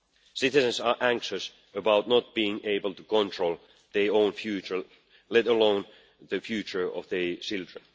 life. Citizens are anxious about not being able to control their own future, let alone the future of their children.